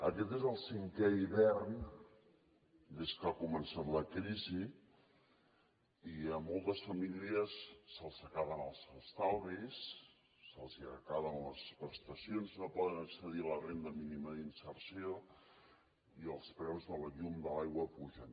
aquest és el cinquè hivern des que ha començat la crisi i a moltes famílies se’ls acaben els estalvis se’ls acaben les prestacions i no poden accedir a la renda mínima d’inserció i els preus de la llum i de l’aigua s’apugen